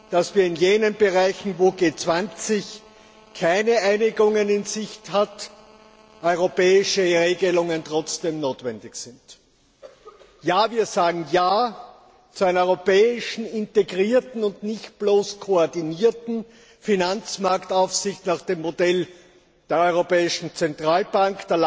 dass in jenen Bereichen, wo im Rahmen der G20 keine Einigung in Sicht ist, trotzdem europäische Regelungen notwendig sind. Wir sagen ja zu einer europäischen integrierten und nicht bloß koordinierten Finanzmarktaufsicht nach dem Modell der Europäischen Zentralbank.